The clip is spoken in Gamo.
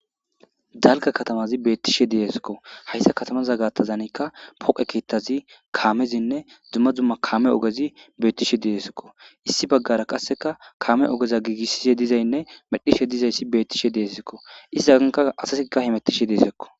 dalga katamazi beettishe deeskko hayssa katamaza gaattazanikka poqe keettazi kaamezinne dzumma zumma kaame ogezi beettishe diesikko issi baggara qasseka kaame ogeza giigissishe dizaynne medhishe dizayssi beettishe deessikko isisaganka asasika himettishe deesekko